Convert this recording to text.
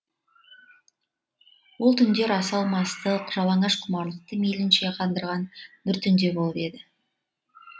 ол түндер асау мастық жалаңаш құмарлықты мейлінше қандырған бір түнде болып еді